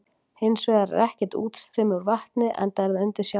Hins vegar er ekkert útstreymi úr vatninu enda er það undir sjávarmáli.